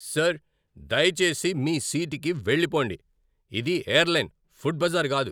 Sir, దయచేసి మీ సీట్కి వెళ్లిపోండి. ఇది ఎయిర్లైన్, ఫుడ్ బజార్ కాదు!